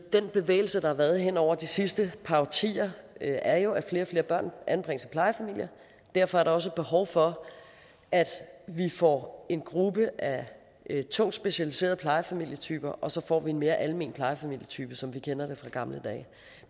den bevægelse der har været hen over de sidste par årtier er jo at flere og flere børn og derfor er der også et behov for at vi får en gruppe af tungt specialiserede plejefamilietyper og så får vi en mere almen plejefamilietype som vi kender det fra gamle dage